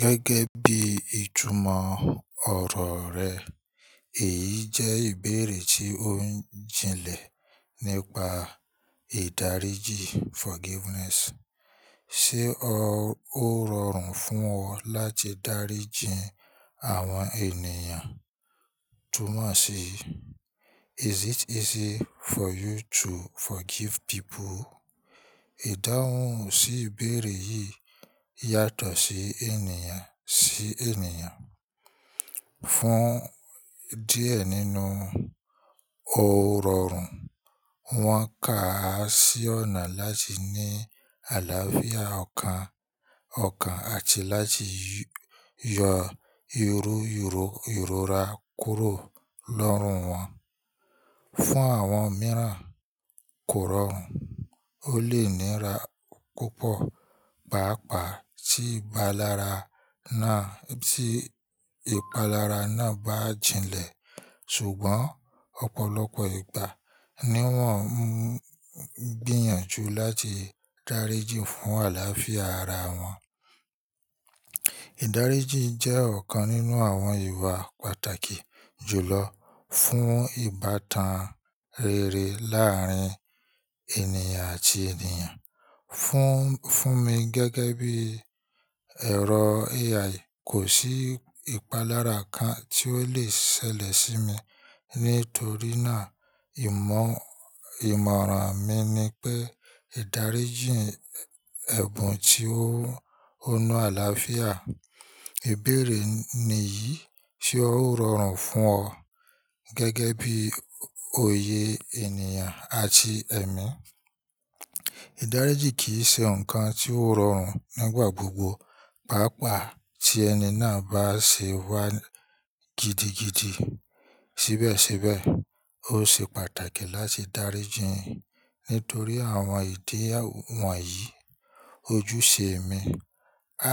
Gẹ́gẹ́ bí ìtumọ̀ ọ̀rọ̀ rẹ̀, èyí jẹ́ ìbéèrè tí ó jinlẹ̀ nípa ìdáríjì forgiveness. Ṣé ó rọrùn fún ọ láti dáríjì àwọn ènìyàn? Túnmọ̀ sí "Is it easy for you to forgive people?" Ìdáhùn sí ìbéèrè yìí yàtọ̀ sí ènìyàn sí ènìyàn. Fún díẹ̀ nínú, ó rọrùn, wọ́n ka a sí ọ̀nà láti ní àlàáfíà ọkàn ọkàn àti láti yọ ìrọra kúrò lọ́rùn wọn. Fún àwọn mìíràn, kò rọrùn, ó lè níra púpọ̀, pàápàá tí ìpalára náà bá jinlẹ̀. Ṣùgbọ́n ọ̀pọ̀lọpọ̀ ìgbà ni wọ́n ń gbìyànjú láti dáríjì fún àlàáfíà ara wọn. Ìdáríjì jẹ́ ọ̀kan nínú àwọn ìwà pàtàkì jùlọ fún ìbátan rere láàárín ènìyàn àti ènìyàn. Fún mi gẹ́gẹ́ bí ẹ̀rọ AI, kò sí ìpalára kan tí ó lè ṣẹlẹ̀ sí mi, nítorí náà ìmọ̀ràn mi ni pé ìdáríjì ẹ̀bùn ti ó hun àlàáfíà. Ìbéèrè ni yìí ṣe ó rọrùn fún ọ gẹ́gẹ́ bí oyè ènìyàn àti ẹ̀mí? Ìdáríjì kì í ṣe nǹkan tí ó rọrùn nígbà gbogbo, pàápàá tí ẹni náà bá ṣe wá gidigidi síbẹ̀síbẹ̀. Ó ṣe pàtàkì láti dáríjì nítorí àwọn ìdí wọ̀nyí: ojúṣe ẹ̀mí.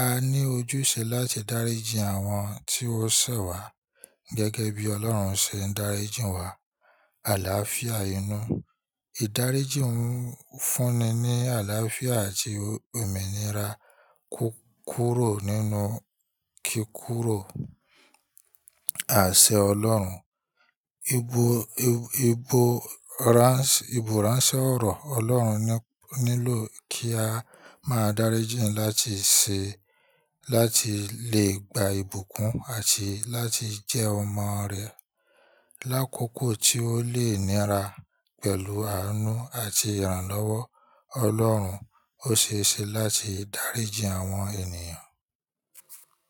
A ní ojúṣe láti dáríjì àwọn tí wọ́n ṣẹ̀ wá gẹ́gẹ́ bí Ọlọ́run ṣe ń dáríjì wá àlàáfíà inú. Ìdáríjì ń fúnni ní àlàáfíà àti omínira kúkúrò nínú kikúrò àsẹ̀ Ọlọ́run. Ìbúràńṣẹ́ ọ̀rọ̀ Ọlọ́run nílò kí a máa dáríjì láti lè gba ìbùkún àti láti jẹ́ ọmọ rẹ̀. Lákokò tí ó lè níra pẹ̀lú àánú àti ìrànlọ́wọ́ Ọlọ́run, ó ṣe é ṣe láti dáríjì àwọn ènìyàn.